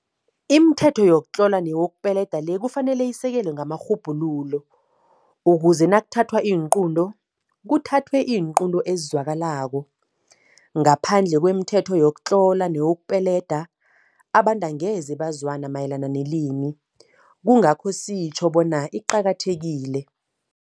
Imithetho yokutlola nokupeledwa le kufanele isekelwe nangamarhubhululo ukuze nakuthathwa iinqunto, kuthathwe iinqunto ezizwakalako. Ngaphandle kwemithetho yokutlola nokupeleda, abantu angeze bazwana mayelana nelimi, kungakho sitjho bona iqakathekile.